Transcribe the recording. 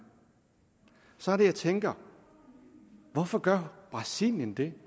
så er det jeg tænker hvorfor gør brasilien det